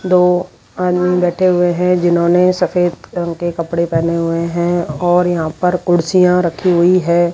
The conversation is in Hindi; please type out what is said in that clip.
दो आदमीन बैठे हुए हैं जिन्होंने सफेद रंग के कपड़े पहने हुए हैं और यहां पर कुर्सियां रखी हुई है।